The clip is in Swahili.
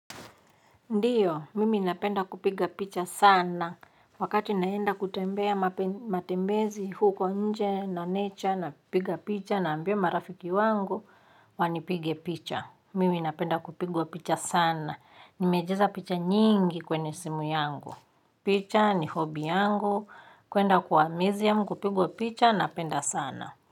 Ndiyo, mimi ninapenda kupiga picha sana wakati naenda kutembea matembezi huko nje na nature napiga picha naambia marafiki wangu wanipige picha. Mimi inapenda kupigwa picha sana. Nimejeza picha nyingi kwenye simu yangu. Picha ni hobi yangu. Kuenda kuwa museum kupigwa picha napenda sana.